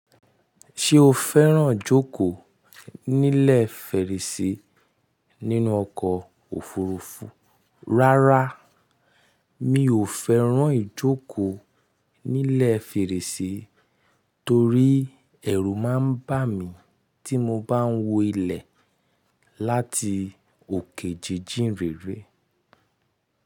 Ṣé o fẹ́ràn jókòó nílẹ̀ fèrèse nínú ọkọ̀ òfurufú? Rárá, mi ò fẹ́ràn ijókòó nílẹ̀ fèrèse torí ẹ̀rù máa ń bà mí tí mo bá ń wọ ilẹ̀ láti òkè jíjìn rere.